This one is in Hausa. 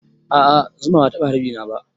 A'a zuma bata taɓa harbi na ba